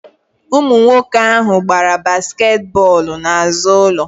Ụmụ nwoke ahụ gbara basket bọlụ na azụ ụlọ